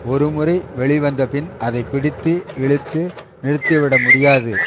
ஒரு முறை வெளிவந்த பின் அதை பிடித்து இழுத்து நிறுத்திவிட முடியாது